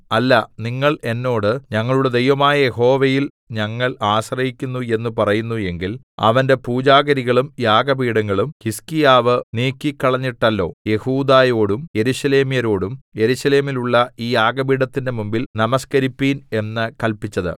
അല്ല നിങ്ങൾ എന്നോട് ഞങ്ങളുടെ ദൈവമായ യഹോവയിൽ ഞങ്ങൾ ആശ്രയിക്കുന്നു എന്ന് പറയുന്നു എങ്കിൽ അവന്റെ പൂജാഗിരികളും യാഗപീഠങ്ങളും ഹിസ്കീയാവ് നീക്കിക്കളഞ്ഞിട്ടല്ലോ യെഹൂദായോടും യെരൂശലേമ്യരോടും യെരൂശലേമിലുള്ള ഈ യാഗപീഠത്തിന്റെ മുമ്പിൽ നമസ്കരിപ്പിൻ എന്ന് കല്പിച്ചത്